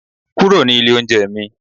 kúrò ní ilé oúnjẹ mi